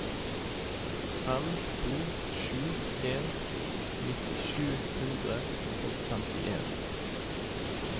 fem to sju en nitti sju hundre og femtien